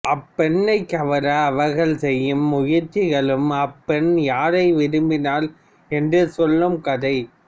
அப்பெண்ணைக் கவர அவர்கள் செய்யும் முயற்சிகளும் அப்பெண் யாரை விரும்பினாள் என்று செல்லும் கதை